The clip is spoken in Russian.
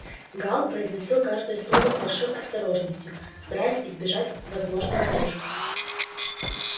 гаал произносил каждое слово с большой осторожностью стараясь избежать возможной ловушки